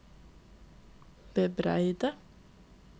bebreide